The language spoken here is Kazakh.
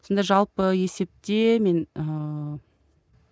сонда жалпы есепте мен ыыы